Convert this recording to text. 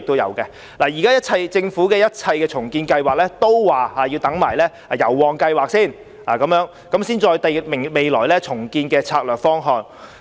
現時，政府說一切重建計劃都要先視乎油旺計劃的研究結果，然後才制訂未來的重建策略方向。